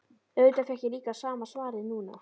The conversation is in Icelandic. Auðvitað fékk ég líka sama svarið núna.